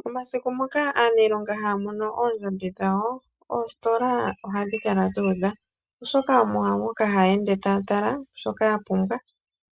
Momasiku moka aaniilonga haya mono oondjambi dhawo, oositola ohashi kala dhu udha, oshoka omo moka haya ende taya tala, shoka ya pumbwa